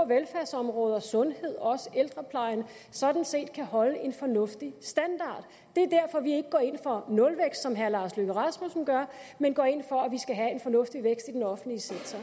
velfærdsområder som sundhed også ældreplejen sådan set kan holde en fornuftig standard det er derfor vi ikke går ind for nulvækst som herre lars løkke rasmussen gør men går ind for at vi skal have en fornuftig vækst i den offentlige sektor